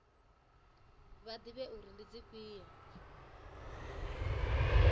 vha ḓivhe uri ndi dzifhio